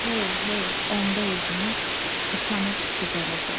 Hey, hey, onda üzümüz utanıb qızaracaq.